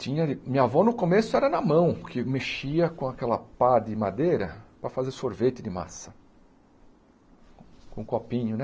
Tinha de minha avó, no começo, era na mão, que mexia com aquela pá de madeira para fazer sorvete de massa, com copinho, né?